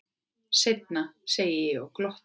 Seinna, segi ég og glotti.